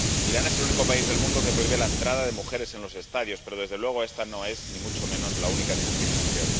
Irán es el único país del mundo que prohíbe la entrada de mujeres en los estadios, pero, desde luego, esta no es —ni mucho menos— la única discriminación.